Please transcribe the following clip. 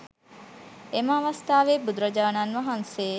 එම අවස්ථාවේ බුදුරජාණන් වහන්සේ